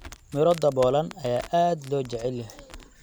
Midho daboolan ayaa aad loo jecel yahay.